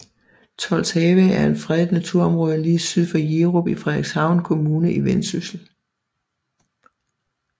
Tolshave er et fredet naturområde lige syd for Jerup i Frederikshavn Kommune i Vendsyssel